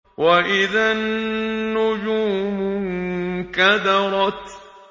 وَإِذَا النُّجُومُ انكَدَرَتْ